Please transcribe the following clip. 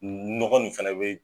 Nɔgɔ nin fɛnɛ be